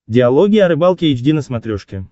диалоги о рыбалке эйч ди на смотрешке